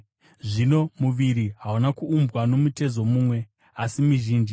Zvino muviri hauna kuumbwa nomutezo mumwe, asi mizhinji.